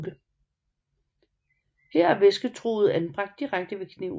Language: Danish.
Her er væsketruget anbragt direkte ved kniven